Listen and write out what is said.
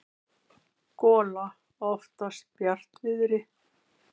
gola oftast bjartviðri.